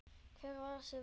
Hver er þessi vernd?